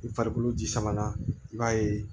I farikolo ji samanana i b'a ye